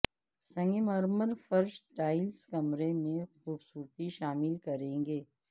سنگ مرمر فرش ٹائل کمرے میں خوبصورتی شامل کریں گے